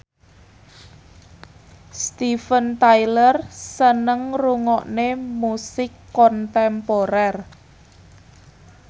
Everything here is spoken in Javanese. Steven Tyler seneng ngrungokne musik kontemporer